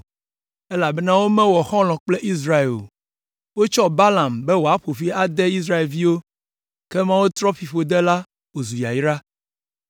elabena womewɔ xɔlɔ̃ kple Israel o. Wotsɔ Balaam be woaƒo fi ade Israelviwo, ke Mawu trɔ fiƒode la wòzu yayra.